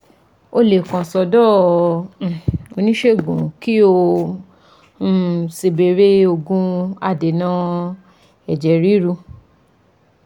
O lè kàn sọ́dọ̀ um oníṣègùn kí o um sì bẹ̀rẹ̀ òògùn adènà ẹ̀jẹ̀ ríru